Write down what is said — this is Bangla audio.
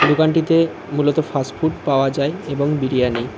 দোকানটিতে মূলত ফাস্টফুড পাওয়া যায় এবং বিরিয়ানি।